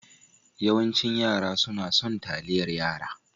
Yawancin yara sunna son taliyar yara.